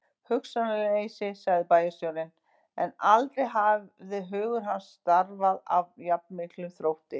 Hugsunarleysi sagði bæjarstjórinn, en aldrei hafði hugur hans starfað af jafn miklum þrótti.